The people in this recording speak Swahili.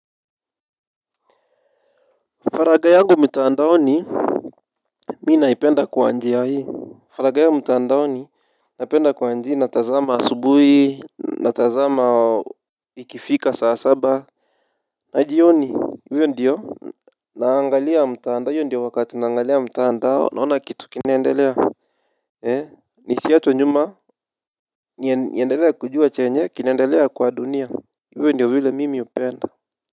Faraga yangu mitaandaoni. Mi naipenda kwa njia hii. Faraga yangu mtaandaoni napenda kuanji natazama asubui. Na tazama ikifika saa saba. Na jioni uwe ndiyo naangalia mtaandao hiyo ndiyo wakati naangalia mtaandao naona kitu kinaendelea. He ni siachwe nyuma niendelea kujua chenye kinaendelea kwa dunia. Uwe ndiyo vile mimi upenda.